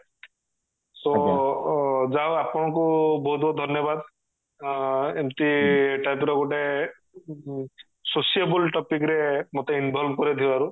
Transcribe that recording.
so ଯା ହଉ ଆପଣଙ୍କୁ ବହୁତ ବହୁତ ଧନ୍ୟବାଦ ଅ ଏମତି type ର ଗୋଟେ ଉଁ sociable topic ରେ ମୋତେ involve କରେଇଥିବାରୁ